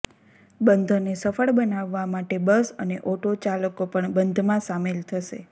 બંધને સફળ બનાવવા માટે બસ અને ઓટો ચાલકો પણ બંધમાં સામેલ થશે